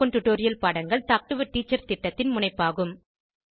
spoken tutorial பாடங்கள் talk to a teacher திட்டத்தின் முனைப்பாகும்